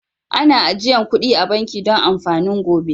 Ana ajian kudi a'banki Dan amfanin gobe.